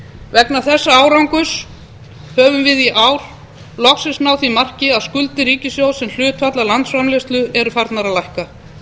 vegna þessa árangurs höfum við í ár loksins náð því marki að skuldir ríkissjóðs sem hlutfall af landsframleiðslu eru farnar að lækka